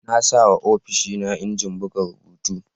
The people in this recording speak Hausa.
Na sayawa ofishina injin buga rubutu.